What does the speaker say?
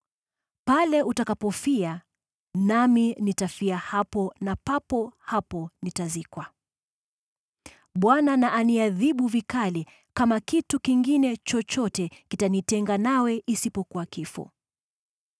Pale utakapofia nami nitafia hapo, na papo hapo nitazikwa. Bwana na aniadhibu vikali, kama kitu kingine chochote kitanitenga nawe isipokuwa kifo.”